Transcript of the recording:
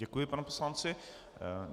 Děkuji panu poslanci.